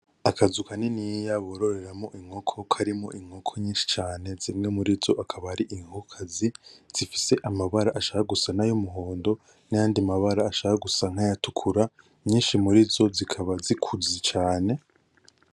Akazu kaniniya bororereramwo inkoko karimwo inkoko nyinshi cane ,zimwe murizo akaba ari inkokokazi zifise amabara ashaka gusa n’ay’umuhondo n’ayandi mabara ashaka gusa nk’ayatukura, nyinshi murizo zikaba zikuze cane.